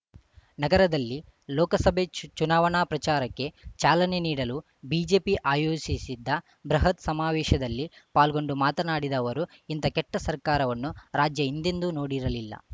ನಗರದಲ್ಲಿ ಲೋಕಸಭೆ ಚು ಚುನಾವಣಾ ಪ್ರಚಾರಕ್ಕೆ ಚಾಲನೆ ನೀಡಲು ಬಿಜೆಪಿ ಆಯೋಜಿಸಿದ್ದ ಬೃಹತ್‌ ಸಮಾವೇಶದಲ್ಲಿ ಪಾಲ್ಗೊಂಡು ಮಾತನಾಡಿದ ಅವರು ಇಂಥ ಕೆಟ್ಟಸರ್ಕಾರವನ್ನು ರಾಜ್ಯ ಹಿಂದೆಂದೂ ನೋಡಿರಲಿಲ್ಲ